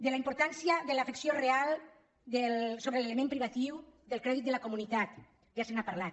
de la importància de l’afecció real sobre l’element privatiu del crèdit de la comunitat ja se n’ha parlat